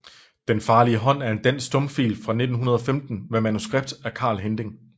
Den farlige Haand er en dansk stumfilm fra 1915 med manuskript af Carl Hinding